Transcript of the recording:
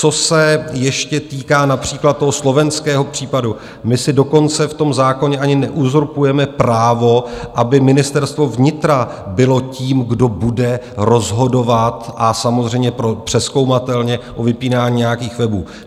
Co se ještě týká například toho slovenského případu, my si dokonce v tom zákoně ani neuzurpujeme právo, aby Ministerstvo vnitra bylo tím, kdo bude rozhodovat, a samozřejmě přezkoumatelně, o vypínání nějakých webů.